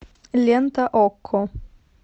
лента окко